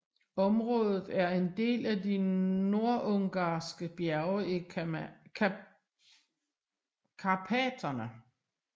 Området er en del af de nordungarske bjerge i Karpaterne